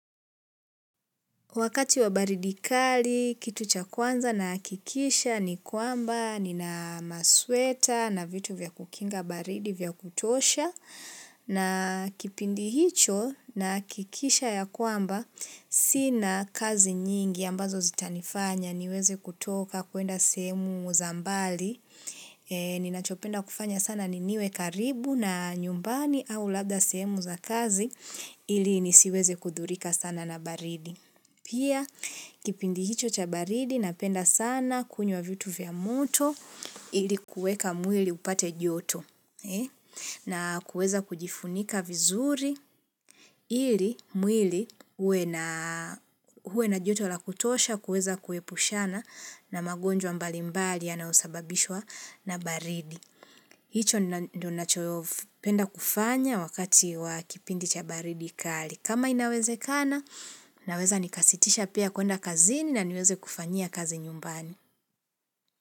Wakati wa baridi kali, kitu cha kwanza na hakikisha ni kwamba, nina masweta na vitu vya kukinga baridi vya kutosha, na kipindi hicho nahakikisha ya kwamba, si na kazi nyingi ambazo zitanifanya niweze kutoka kwenda sehemu za mbali. Ninachopenda kufanya sana niniwe karibu na nyumbani au labda sehemu za kazi ili nisiweze kudhurika sana na baridi. Pia kipindi hicho cha baridi na penda sana kunywa vitu vya moto ili kueka mwili upate joto. Na kuweza kujifunika vizuri ili mwili uwe na joto la kutosha kuweza kuepushana na magonjwa mbali mbali ya nayosababishwa na baridi. Hicho ndo nacho penda kufanya wakati wa kipindi cha baridi kali. Kama inawezekana, ninaweza nikasitisha pia kwenda kazini na niweze kufanyia kazi nyumbani.